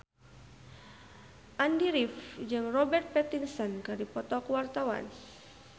Andy rif jeung Robert Pattinson keur dipoto ku wartawan